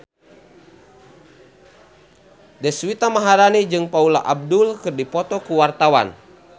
Deswita Maharani jeung Paula Abdul keur dipoto ku wartawan